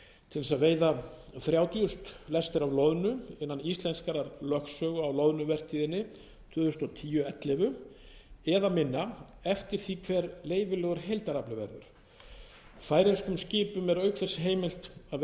til þess að veiða þrjátíu þúsund lestir af loðnu innan íslenskrar lögsögu á loðnuvertíðinni tvö þúsund og tíu tvö þúsund og ellefu eða minna eftir því hver leyfilegur heildarafli verður færeyskum skipum er auk þess heimilt að veiða